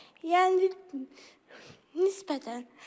Yəni, nisbətən.